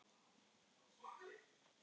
Vörn: Aron Ý.